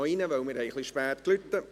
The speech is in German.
Sie haben noch 12 Sekunden Zeit!